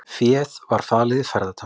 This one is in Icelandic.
Féð var falið í ferðatöskum